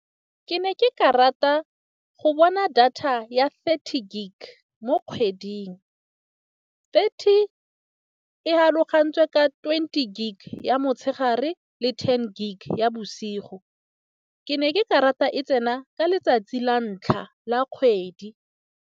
Ke ne ke ka rata go bona data ya thirty gig mo kgweding. Thirty e kgalogantswe ka twenty gig ya motshegare le ten gig ya bosigo. Ke ne ke karata e tsena ka letsatsi la ntlha la kgwedi.